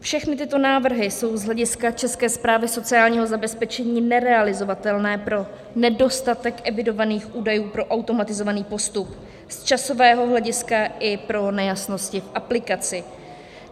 Všechny tyto návrhy jsou z hlediska České správy sociálního zabezpečení nerealizovatelné pro nedostatek evidovaných údajů pro automatizovaný postup z časového hlediska i pro nejasnosti v aplikaci.